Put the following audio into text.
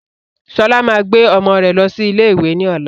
Sọlá máa gbé ọmọ rẹ losi ilé ìwé ni ọ̀la